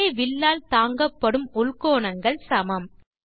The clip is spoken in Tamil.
ஒரே வில்லால் தாங்கப்படும் உள்கோணங்கள் சமம்